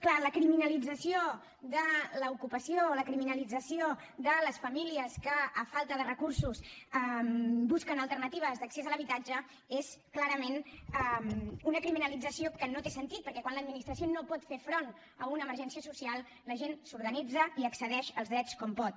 clar la criminalització de l’ocupació la criminalització de les famílies que per falta de recursos busquen alternatives d’accés a l’habitatge és clarament una criminalització que no té sentit perquè quan l’administració no pot fer front a una emergència social la gent s’organitza i accedeix als drets com pot